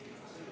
Jätkame.